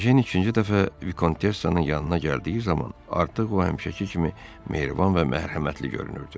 Ejen ikinci dəfə Vikontessanın yanına gəldiyi zaman artıq o həmşəki kimi mehriban və mərhəmətli görünürdü.